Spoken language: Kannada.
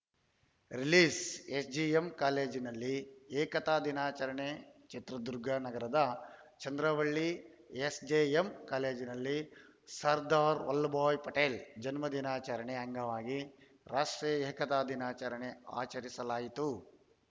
ರಿಲೀಸ್‌ಎಸ್‌ಜೆಎಂ ಕಾಲೇಜಿನಲ್ಲಿ ಏಕತಾ ದಿನಾಚರಣೆ ಚಿತ್ರದುರ್ಗ ನಗರದ ಚಂದ್ರವಳ್ಳಿ ಎಸ್‌ಜೆಎಂ ಕಾಲೇಜಿನಲ್ಲಿ ಸರ್ದಾರ್‌ ವಲ್ಲಭಭಾಯ್‌ ಪಟೇಲ್‌ ಜನ್ಮದಿನಾಚರಣೆ ಅಂಗವಾಗಿ ರಾಷ್ಟ್ರೀಯ ಏಕತಾ ದಿನಾಚರಣೆ ಆಚರಿಸಲಾಯಿತು